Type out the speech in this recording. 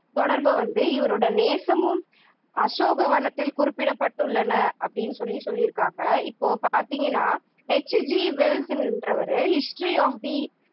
தொடர்பை வந்து இவரது நேசமும் அசோகவனத்தில் குறிப்பிடப்பட்டுள்ளன அப்படின்னு சொல்லி சொல்லிருக்காங்க. இப்போ பாத்தீங்கன்னா எச் ஜி வெல்ஸ்ன்றவரு history of the